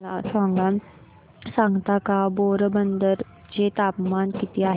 मला सांगता का पोरबंदर चे तापमान किती आहे